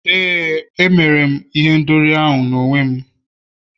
éè, m mere ihendori n'onwe m